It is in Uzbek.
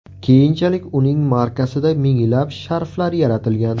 Keyinchalik uning markasida minglab sharflar yaratilgan.